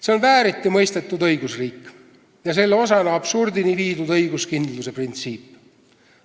See on vääriti mõistetud õigusriik ja selle osana absurdini viidud õiguskindluse printsiip.